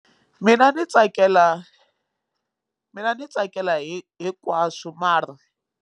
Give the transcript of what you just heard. Mina ni tsakela mina ni tsakela hi hinkwaswo mara.